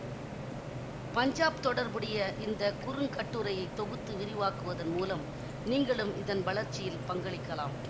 பஞ்சாப் தொடர்புடைய இந்த குறுங்கட்டுரையை தொகுத்து விரிவாக்குவதன் மூலம் நீங்களும் இதன் வளர்ச்சியில் பங்களிக்கலாம்